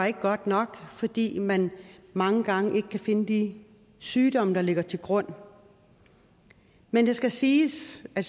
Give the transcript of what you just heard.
ikke var godt nok fordi man mange gange ikke kan finde de sygdomme der ligger til grund men det skal siges at